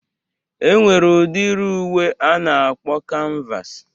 E nwere udiri uwe a na-akpọ kanvas